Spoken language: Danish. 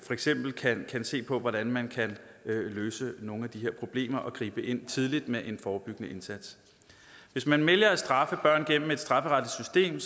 for eksempel kan man se på hvordan man kan løse nogle af de her problemer og gribe ind tidligt med en forebyggende indsats hvis man vælger at straffe børn gennem et strafferetligt system